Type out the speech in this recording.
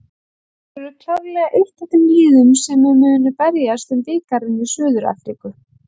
Þeir eru klárlega eitt af þeim liðum sem munu berjast um bikarinn í Suður Afríku